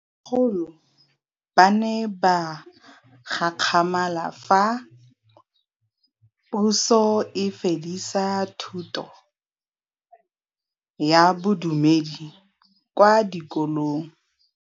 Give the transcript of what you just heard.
Bagolo ba ne ba gakgamala fa Pusô e fedisa thutô ya Bodumedi kwa dikolong.